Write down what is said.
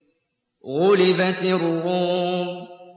غُلِبَتِ الرُّومُ